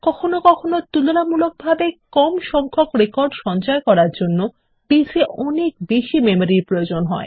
কখনও কখনও তুলনামূলকভাবে কম সংখ্যক রেকর্ড সঞ্চয় করার জন্য বেস এর অনেক বেশি মেমরির প্রয়োজন হয়